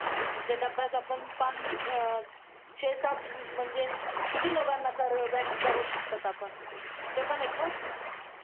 असा पाऊस रोज महिने वर्षभर यावा अस झिंग झिंगाट मनात येत राहते. पावसात नाचून दमून भागून झोपल्यावर ही स्वप्नात पावसाचे लक्ष लक्ष मोर नाचताना दिसतात